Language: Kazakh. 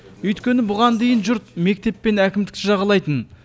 өйткені бұған дейін жұрт мектеп пен әкімдікті жағалайтын